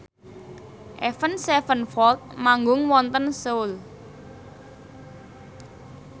Avenged Sevenfold manggung wonten Seoul